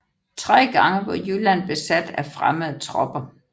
Tre gange var Jylland besat af fremmede tropper